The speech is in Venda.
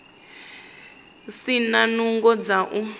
si na nungo dza u